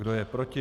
Kdo je proti?